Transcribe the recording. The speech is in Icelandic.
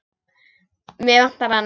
Mig vantar hana.